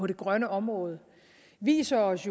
det grønne område viser os